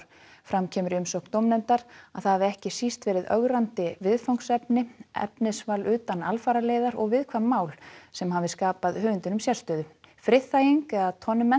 fram kemur í umsögn dómnefndar að það hafi ekki síst verið ögrandi viðfangsefni efnisval utan alfararleiðar og viðkvæm mál sem hafi skapað höfundinum sérstöðu friðþæging eða